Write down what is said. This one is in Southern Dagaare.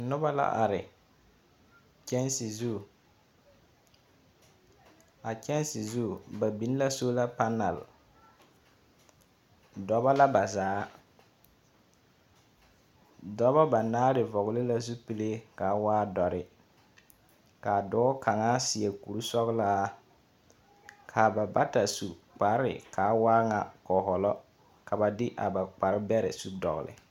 Noba la are kyɛnse zu. A kyɛnse zu, ba biŋ la sola panal. Dɔbɔ la ba zaa. Dɔbɔ banaare vɔgele la zupile ka a waa dɔre. Ka a dɔɔ kaŋa seɛ kuri sɔgelaa. Ka ba bata su kpare ka a waa ŋa kɔhɔlɔ. ka ba de a ba kpare bɛrɛ su dɔgele.